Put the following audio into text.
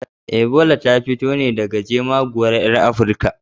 Ebola ta fito ne daga jemaguwar ƴar Afirka.